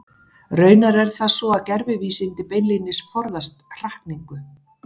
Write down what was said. Raunar er það svo að gervivísindi beinlínis forðast hrakningu.